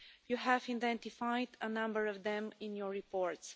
You have identified a number of them in your reports.